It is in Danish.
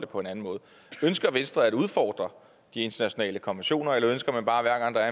på en anden måde ønsker venstre at udfordre de internationale konventioner eller ønsker man bare hver gang der